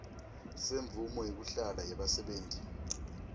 semvumo yekuhlala yebasebenti